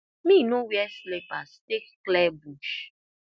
me no wear slippers take clear bush